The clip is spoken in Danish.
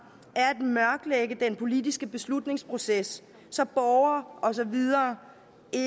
er at mørklægge den politiske beslutningsproces så borgere og så videre